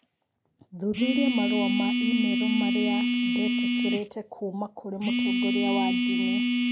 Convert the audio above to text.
Thuthuria marũa ma i-mīrū marĩa ndetĩkĩrĩte kuuma kũrĩ mũtongoria wa ndini.